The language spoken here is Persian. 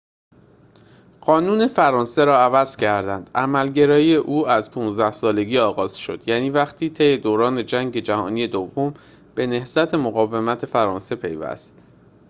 قانون فرانسه را عوض کردند عمل‌گرایی او از ۱۵ سالگی آغاز شد یعنی وقتی طی دوره جنگ جهانی دوم به نهضت مقاومت فرانسه پیوست